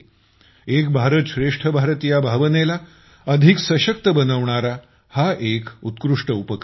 एक भारतश्रेष्ठ भारत या भावनेला अधिक सशक्त बनवणारा हा एक उत्कृष्ट उपक्रम आहे